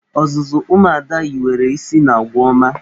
Ọzụzụ ụmụ Ada hiwere isi n'agwa ọma.